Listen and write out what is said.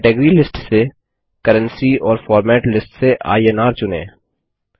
category list से currency और format list से इन्र चुनें